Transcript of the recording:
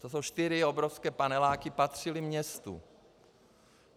To jsou čtyři obrovské paneláky, patřily městu.